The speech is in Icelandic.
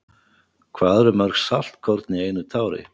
Hvað eru mörg saltkorn í einu tári?